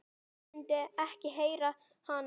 Hann myndi ekki heyra hana.